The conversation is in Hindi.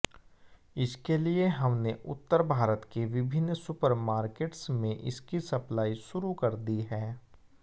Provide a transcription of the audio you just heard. इसके लिए हमने उत्तर भारत के विभिन्न सुपरमार्केट्स में इसकी सप्लाई शुरू कर दी है